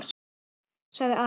sagði Ari.